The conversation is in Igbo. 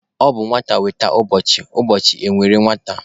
Ọ na-abụ nwata nwere ụbọchị, ụbọchị e nwere nwata.